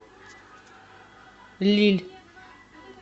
лилль